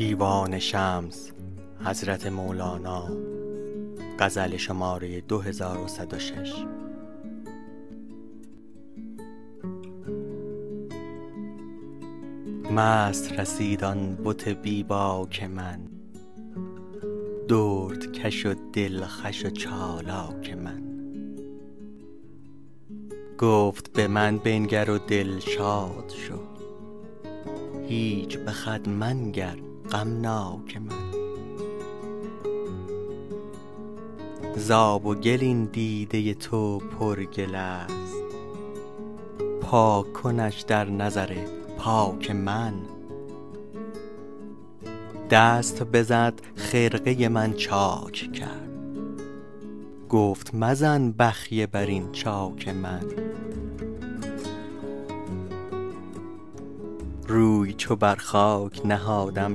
مست رسید آن بت بی باک من دردکش و دلخوش و چالاک من گفت به من بنگر و دلشاد شو هیچ به خود منگر غمناک من ز آب و گل این دیده تو پرگل است پاک کنش در نظر پاک من دست بزد خرقه من چاک کرد گفت مزن بخیه بر این چاک من روی چو بر خاک نهادم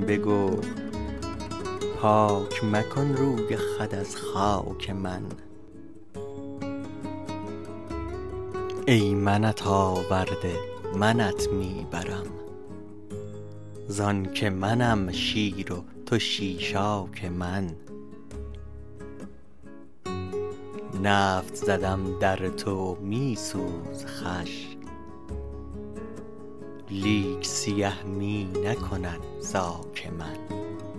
بگفت پاک مکن روی خود از خاک من ای منت آورده منت می برم ز آنک منم شیر و تو شیشاک من نفت زدم در تو و می سوز خوش لیک سیه می نکند زاک من